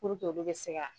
Puruke olu bɛ se ka